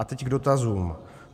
A teď k dotazům.